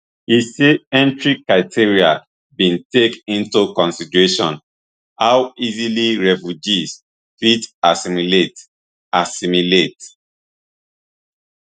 e say entry criteria bin take into consideration how easily refugees fit assimilate assimilate